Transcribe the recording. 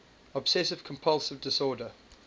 obsessive compulsive disorder